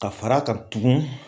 Ka fara kan tugun